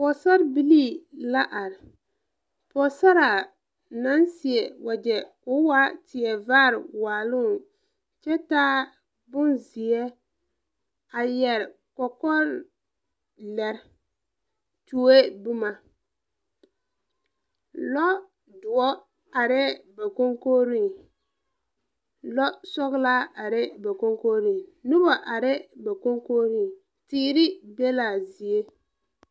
Pogesarrebilii la are poosaraa naŋ seɛ wagyɛ koo waa tie vaare waaloŋ kyɛ taa bonzeɛ a yɛre kɔkɔlɛre tuoee bomma lɔ doɔ arɛɛ ba konkogriŋ lɔ sɔglaa areɛɛ ba konkogriŋ noba areɛɛ ba konkogriŋ teere be laa zie.